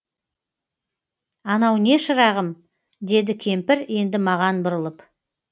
анау не шырағым деді кемпір енді маған бұрылып